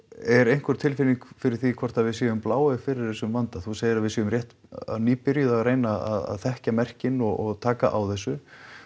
er einhver tilfinning fyrir því hvort að við séum bláeygð fyrir þessum vanda þú segir að við séum nýbyrjuð að þekkja merking og taka á þessu